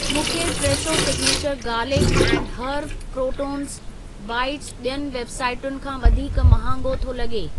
मूंखे Fresho signature garlic and herb croutons bits ॿियुनि वेबसाइटुनि खां वधीक महांगो थो लॻे।